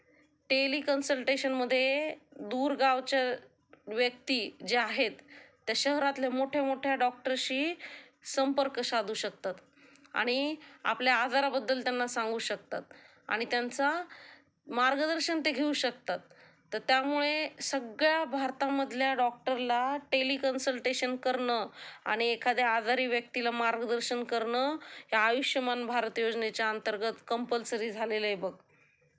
टेलिकन्स्ल्टेशनमध्ये दीर गावचे व्यक्ती जे आहेत, त्या शहरातल्या मोठ्या मोठ्या डॉक्टरशी संपर्क साधू शकतात आणि आपल्या आजाराबद्दल त्यांना सांगू शकतात, आणि त्यांचा मार्गदर्शन ते घेऊ शकतात. तर त्यमुळे सगळ्या भारतामधल्या डॉक्टरला टेलिकंस्टंटेशन करणं आणि एखाद्या आजारी व्यक्तिला मार्गदर्शन करणं हे आयुष्यमान भारती योजनेच्या अंतर्गत कंम्लसरी झालेलं आहे बघ.